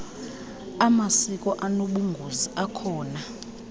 amasiko anobungozi akhona